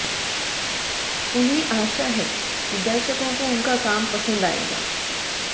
उन्हें आशा है कि दर्शकों को उनका काम पसंद आएगा